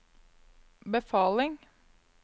befaling